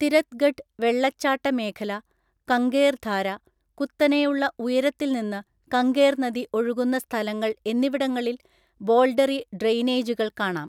തിരത്ഗഡ് വെള്ളച്ചാട്ട മേഖല, കംഗേർ ധാര, കുത്തനെയുള്ള ഉയരത്തിൽ നിന്ന് കങ്കേർ നദി ഒഴുകുന്ന സ്ഥലങ്ങൾ എന്നിവിടങ്ങളിൽ ബോൾഡറി ഡ്രെയിനേജുകൾ കാണാം.